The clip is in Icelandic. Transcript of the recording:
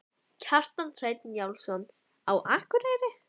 Kjartan Hreinn Njálsson: Á Akureyri?